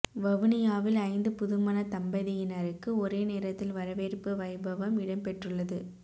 வவுனியாவில் ஐந்து புதுமண தம்பதியினருக்கு ஒரே நேரத்தில் வரவேற்பு வைபவம் இடம் பெற்றுள்ளது